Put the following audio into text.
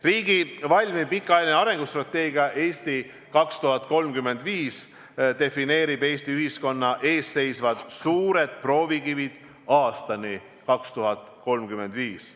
Riigi valmiv pikaajaline arengustrateegia "Eesti 2035" defineerib Eesti ühiskonna ees seisvad suured proovikivid aastani 2035.